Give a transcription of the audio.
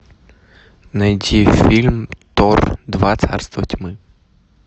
найти фильм тор два царство тьмы